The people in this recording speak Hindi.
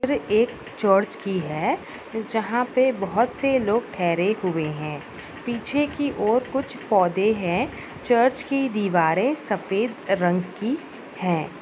एक चर्च की है जहाँ पर बहुत से लोग ठहरे हुए है पीछे की ओर कुछ पौधे है चर्च की दीवारे सफेद रंग की है।